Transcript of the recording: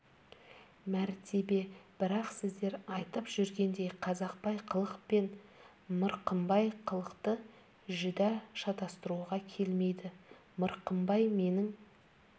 мәртебе бірақ сіздер айтып жүргендей қазақбай қылық пен мырқымбай қылықты жүдә шатастыруға келмейді мырқымбай менің